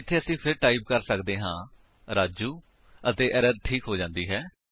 ਇੱਥੇ ਅਸੀ ਫਿਰ ਟਾਈਪ ਕਰ ਸੱਕਦੇ ਹਾਂ ਰਾਜੂ ਅਤੇ ਐਰਰ ਠੀਕ ਹੋ ਜਾਂਦੀ ਹੈ